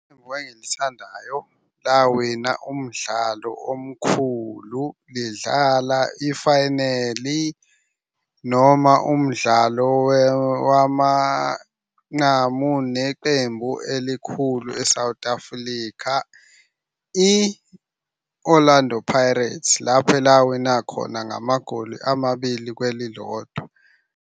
Lawina umdlalo omkhulu lidlala ifayineli noma umdlalo wamanqamu neqembu elikhulu e-South Africa. I-Orlando Pirates lapho elawina khona ngamagoli amabili kwelilodwa.